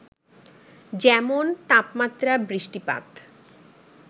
যেমন, তাপমাত্রা, বৃষ্টিপাত,